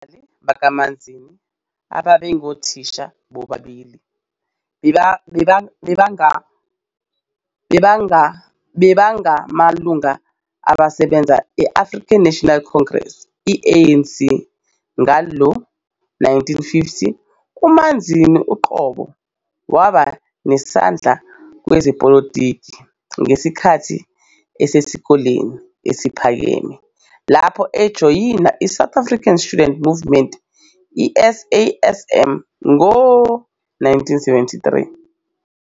Abazali bakaManzini, ababengothisha, bobabili babengamalunga asebenzayo e-African National Congress, ANC, ngawo-1950. UManzini uqobo waba nesandla kwezepolitiki ngesikhathi esesikoleni esiphakeme, lapho ejoyina iSouth African Student Movement, SASM, ngo-1973.